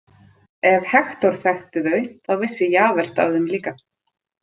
Ef Hektor þekkti þau, þá vissi Javert af þeim líka.